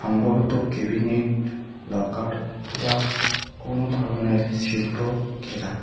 সম্ভবত cabinet locker অথবা কোনো ধরনের শিল্প ঘেরা।